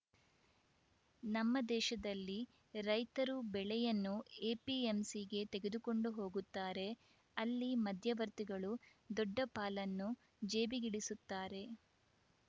ನಮ್ಮ ದೇಶದಲ್ಲಿ ರೈತರು ಬೆಳೆಯನ್ನು ಎಪಿಎಂಸಿಗೆ ತೆಗೆದುಕೊಂಡು ಹೋಗುತ್ತಾರೆ ಅಲ್ಲಿ ಮಧ್ಯವರ್ತಿಗಳು ದೊಡ್ಡ ಪಾಲನ್ನು ಜೇಬಿಗಿಳಿಸುತ್ತಾರೆ